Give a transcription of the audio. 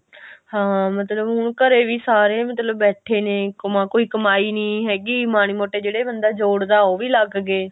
ਹਾਂ ਮਤਲਬ ਹੁਣ ਘਰੇ ਵੀ ਸਾਰੇ ਬੈਠੇ ਨੇ ਕਮਾ ਕੋਈ ਕਮਾਈ ਨੀ ਹੈਗੀ ਮਾੜੇ ਮੋਟੇ ਜਿਹੜੇ ਬੰਦਾ ਜੋੜਦਾ ਉਹ ਵੀ ਲੱਗ ਗਏ